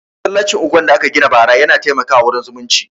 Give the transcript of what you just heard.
Masallacin unguwan da aka gina bara na taimaka wa wurin zumunci